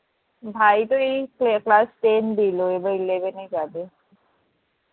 ভাই তো এই class ten দিল এবার eleven এ যাবে